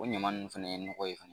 O ɲama nunnu fana ye nɔgɔ ye.